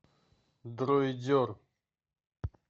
дройдер